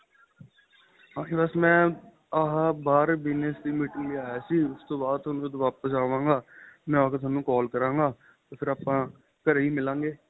ਬੱਸ ਮੈਂ ਆਂਹ ਮੈਂ ਬਹਾਰ bigness ਦੀ meeting ਲਈ ਆਇਆ ਸੀ ਉਸ ਤੋ ਬਾਅਦ ਜਦੋਂ ਵਾਪਿਸ ਅਵਾਗਾ ਮੈਂ ਆਕੇ ਤੁਹਾਨੂੰ call ਕਰਾਗਾ ਫ਼ੇਰ ਆਪਾਂ ਘਰੇ ਮਿਲਾਗੇ